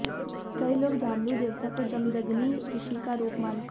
कई लोग जामलू देवता को जमदग्नि ऋषि का रूप मानते हैं